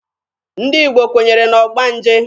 Ndị Igbo kwenyere na ọgbanje.